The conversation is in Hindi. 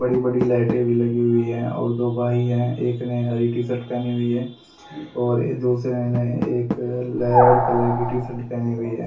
बड़ी बड़ी लाइटें भी लगी हुई हैं और दो भाई हैं एक ने हरी टी शर्ट पहनी हुई है और दूसरे ने एक लहर कलर की टी शर्ट पहनी हुई है।